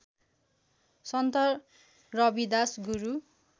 सन्त Ravidas गुरू